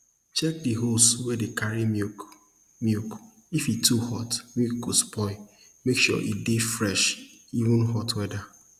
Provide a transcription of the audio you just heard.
check di hose wey dey carry milk milk if e too hot milk go spoil make sure e dey fresh even hot weather